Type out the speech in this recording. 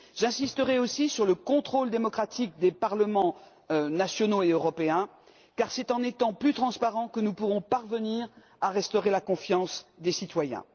J'insisterai aussi sur le contrôle démocratique des parlements nationaux et européen car c'est avec plus transparence que nous pourrons parvenir à restaurer la confiance des citoyens.